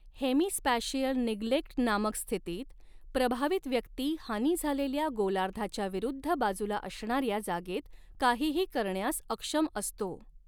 Hemispatial निग्लेक्ट नामक स्थितीत, प्रभावित व्यक्ती हानी झालेल्या गोलार्धाच्या विरुद्ध बाजूला असणाऱ्या जागेत काहीही करण्यास अक्षम असतो.